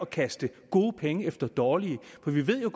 kaste gode penge efter dårlige og vi ved jo